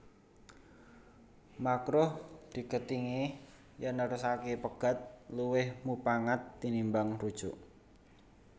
Makruh digethingi yèn nerusaké pegat luwih mupangat tinimbang rujuk